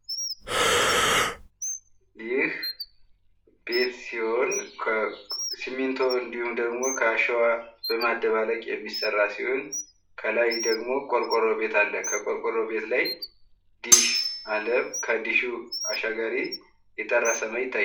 ይህ ቤት ሲሆን ከሲሚንቶ እንዲሁም ደግሞ ከአሸዋ በማደባለቅ የሚሰራ ሲሆን ከላይ ደግሞ ቆርቆሮ ቤት አለ ። ቆርቆሮ ቤት ላይ ዲሽ አለ ። ከዲሹ አሻጋሪ የጠራ ሰማይ ይታያል ።